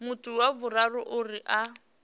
muthu wa vhuraru uri a